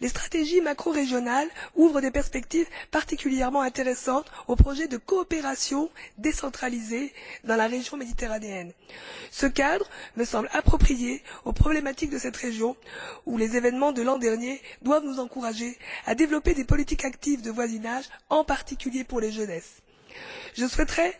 Les stratégies macrorégionales ouvrent des perspectives particulièrement intéressantes aux projets de coopération décentralisée dans la région méditerranéenne. Ce cadre me semble approprié aux problématiques de cette région où les événements de l'an dernier doivent nous encourager à développer des politiques actives de voisinage, en particulier pour la jeunesse. Je souhaiterais,